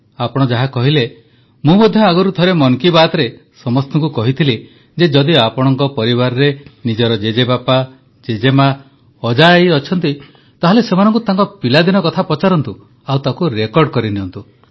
ଆପଣ ଯାହା କହିଲେ ମୁଁ ମଧ୍ୟ ଆଗରୁ ଥରେ ମନ କି ବାତ୍ରେ ସମସ୍ତଙ୍କୁ କହିଥିଲି ଯେ ଯଦି ଆପଣଙ୍କ ପରିବାରରେ ନିଜର ଜେଜେବାପା ଜେଜେମା ଅଜା ଆଈ ଅଛନ୍ତି ତାହାଲେ ସେମାନଙ୍କୁ ତାଙ୍କ ପିଲାଦିନ କଥା ପଚାରନ୍ତୁ ଆଉ ତାକୁ ରେକର୍ଡ଼ କରିନିଅନ୍ତୁ